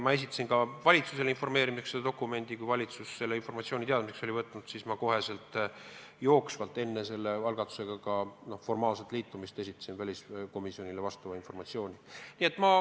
Ma esitasin ka valitsusele informatsiooni korras selle dokumendi ja kui valitsus oli selle teadmiseks võtnud, siis ma jooksvalt, enne selle algatusega formaalset liitumist, esitasin informatsiooni otsekohe ka väliskomisjonile.